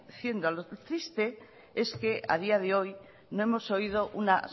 haciendo lo triste es que a día de hoy no hemos oído ni una